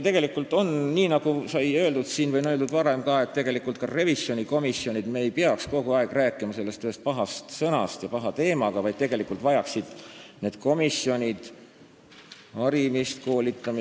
Tegelikult, nagu sai siin öeldud või on öeldud ka varem revisjonikomisjonide teema kohta, et me ei peaks kogu aeg rääkima sellest ühest pahast sõnast ja siduma kõike selle paha teemaga, vaid tegelikult vajaksid need komisjonid ja nende liikmed harimist ja koolitamist.